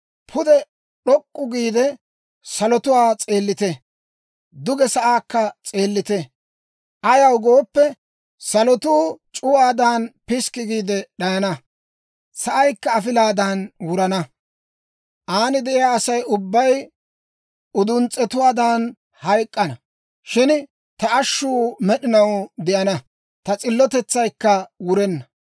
Pude d'ok'k'u giide, salotuwaa s'eellite; duge sa'aakka s'eellite. Ayaw gooppe, salotuu c'uwaadan piskki giide d'ayana; sa'aykka afilaadan wurana; aan de'iyaa Asay ubbay uduns's'etuwaadan hayk'k'ana. Shin ta ashshuu med'inaw de'ana; ta s'illotetsaykka wurenna.